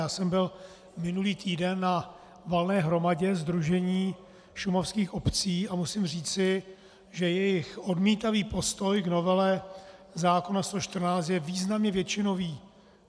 Já jsem byl minulý týden na valné hromadě Sdružení šumavských obcí a musím říci, že jejich odmítavý postoj k novele zákona 114 je významně většinový.